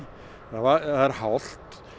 það er hált